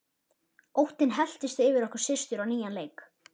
Óttinn helltist yfir okkur systur á nýjan leik.